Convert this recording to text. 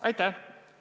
Aitäh!